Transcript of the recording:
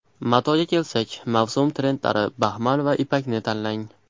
Matoga kelsak, mavsum trendlari baxmal va ipakni tanlang.